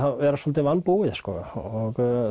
vera svolítið vanbúið sko og